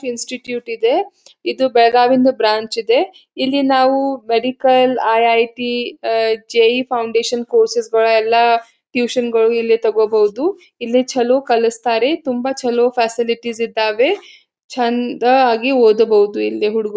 Institute ಇದೆ ಇದು ಬೆಳಗಾಂ ಎಂದು ಬ್ರಾಂಚ್ ಇದೆ. ಇಲ್ಲಿ ನಾವು medical IIT uh _JEE foundation course ಗಳೆಲ್ಲಾ ಟ್ಯೂಷನ್ ಗಳು ಇಲ್ಲಿ ತೋಕೋಬಹುದು. ಇಲ್ಲಿ ಚಲೋ ಕಲಸ್ತಾರೆ ತುಂಬಾ ಚಲೋ ಫ್ಯಾಸಿಲಿಟೀಸ್ ಇದ್ದಾವೆ ಚಂದಆಗಿ ಓದಬಹುದು ಇಲ್ಲಿ ಹುಡುಗ್ರು.